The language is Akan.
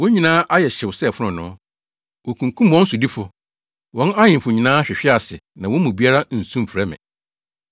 Wɔn nyinaa ayɛ hyew sɛ fononoo. Wokunkum wɔn sodifo. Wɔn ahemfo nyinaa hwehwe ase na wɔn mu biara nsu mfrɛ me.